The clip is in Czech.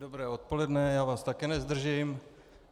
Dobré odpoledne, já vás také nezdržím.